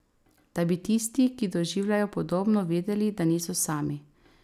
Da bi tisti, ki doživljajo podobno, vedeli, da niso sami.